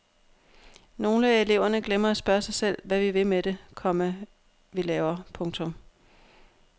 Nogle af eleverne glemmer at spørge sig selv hvad vi vil med det, komma vi laver. punktum